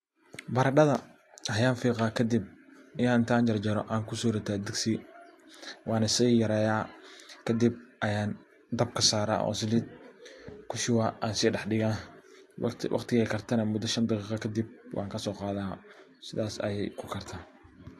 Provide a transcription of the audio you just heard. Baradadha ayan fiqa kadib ayan intan jarjaro oo digsi kusorita. Waana si yaryareya kadib aya dabka saraa kadib kushba aan si daxdiga ,waqtigey kartana muda shan daqiqo kadib wan kaso qada sidaas ayey u karan.